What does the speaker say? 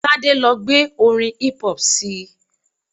Tade lo gbé orin hip hop sii